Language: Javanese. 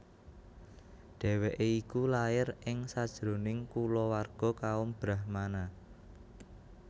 Dhèwèké iku lair ing sajroning kulawarga kaum brahmana